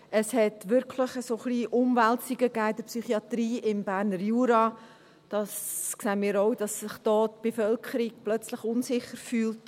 Es hat wirklich ein wenig Umwälzungen in der Psychiatrie im Berner Jura gegeben, und wir sehen auch, dass sich da die Bevölkerung plötzlich unsicher fühlt.